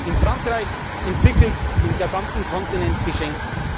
Frau. In Frankreich entwickelt, dem gesamten Kontinent geschenkt.